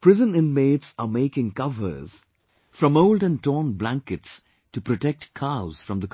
prison inmates are making covers from old and torn blankets to protect cows from the cold